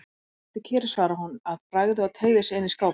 Nei, sittu kyrr, svaraði hún að bragði og teygði sig inn í skápinn.